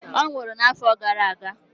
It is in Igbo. Ọ nwụrụ n'afọ gara aga